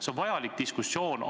See on vajalik diskussioon.